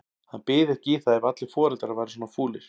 Hann byði ekki í það ef allir foreldrar væru svona fúlir.